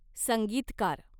संगीतकार